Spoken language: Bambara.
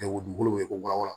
waraw la